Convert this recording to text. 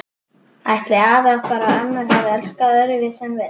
Ætli afar okkar og ömmur hafi elskast öðruvísi en við?